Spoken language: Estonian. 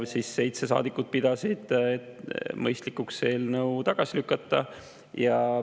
Seitse saadikut pidas mõistlikuks eelnõu tagasi lükata.